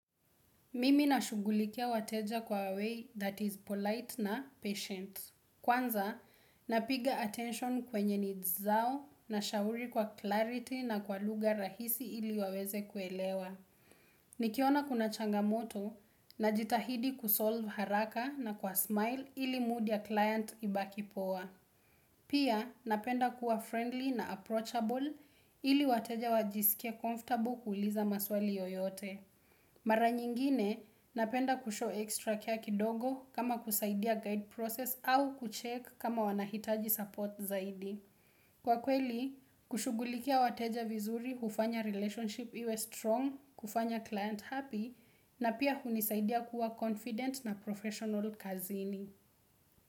Mimi nashughulikia wateja kwa way that is polite na patient. Kwanza, napiga attention kwenye nizao na shauri kwa clarity na kwa luga rahisi ili waweze kuelewa. Nikiona kuna changamoto na jitahidi kusolve haraka na kwa smile ili mood ya client ibaki poa. Pia, napenda kuwa friendly na approachable ili wateja wajisikia comfortable kuliza maswali yoyote. Mara nyingine, napenda kusho ekstra kea kidogo kama kusaidia guide process au kuchek kama wanahitaji support zaidi. Kwa kweli, kushugulikia wateja vizuri hufanya relationship iwe strong, kufanya client happy, na pia hunisaidia kuwa confident na professional kazini.